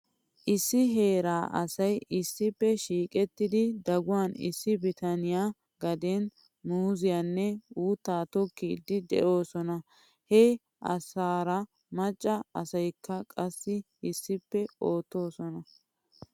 issi heeraa asay issippe shiiqettidi daguwan issi bitaniyaa gaden muuziyaanne uuttaa tukkiiddi de'oosona. He asaara macca asaykka qassi issippe oottoosona.